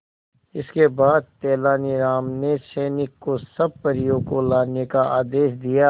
इसके बाद तेलानी राम ने सैनिकों को सब परियों को लाने का आदेश दिया